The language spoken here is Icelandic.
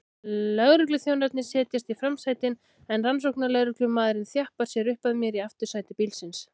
Lögregluþjónarnir setjast í framsætin en rannsóknarlögreglumaðurinn þjappar sér upp að mér í aftursæti bílsins.